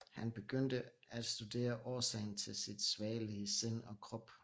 Han begyndte at studere årsagen til sit svagelige sind og krop